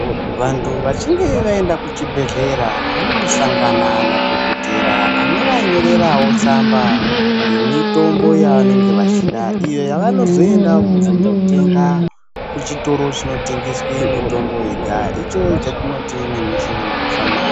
Vantu vachinge vaenda kuchibhedhlera vanondosangana nadhogodheya anovanyorerawo tsamba yemitombo yavanenge vachida, iyo yavanozoenda kundotenga kuchitoro chinotengeswa mitombo yega, icho chatinoti nemuchirungu famasi.